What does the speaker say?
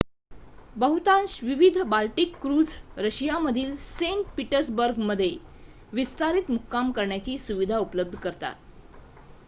बहुतांश विविध Baltic cruise रशियामधील सेंट पीटर्सबर्गमध्ये विस्तारित मुक्काम करण्याची सुविधा उपलब्ध करतात